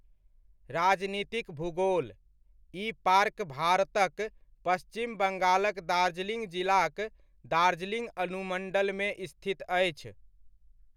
राजनीतिक भूगोलः ई पार्क भारतक पश्चिम बङ्गालक दार्जिलिङ्ग जिलाक दार्जिलिङ्ग अनुमण्डलमे स्थित अछि।